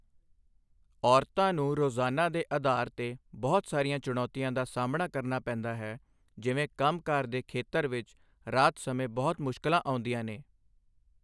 ਔਰਤਾਂ ਨੂੰ ਰੋਜ਼ਾਨਾ ਦੇ ਆਧਾਰ 'ਤੇ ਬਹੁਤ ਸਾਰੀਆਂ ਚੁਣੌਤੀਆਂ ਦਾ ਸਾਹਮਣਾ ਕਰਨਾ ਪੈਂਦਾ ਹੈ ਜਿਵੇਂ ਕੰਮ ਕਾਰ ਦੇ ਖੇਤਰ ਵਿੱਚ ਰਾਤ ਸਮੇਂ ਬਹੁਤ ਮੁਸ਼ਕਲਾਂ ਆਉਂਂਦੀਆਂ ਨੇ।